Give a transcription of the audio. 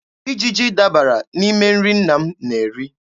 Ijiji dabara n'ime nri nna m na-eri.